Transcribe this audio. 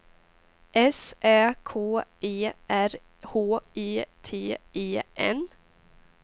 S Ä K E R H E T E N